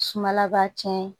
Sumala b'a cɛn